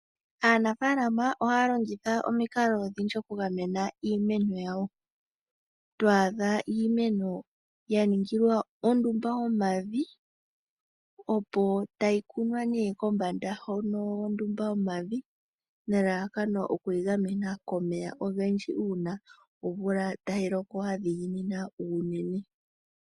Aanafaalama ohaya longitha omikalo odhindji okugamena iimeno yawo. To adha iimeno ya ningilwa ondumba yomavi, tayi kunwa nee hono kombanda yomavi. Nelalakano okuyi gamena komeya ogendji uuna omvula tayi loko ya dhiginina unene.